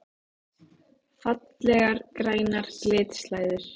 Fallegar grænar glitslæður!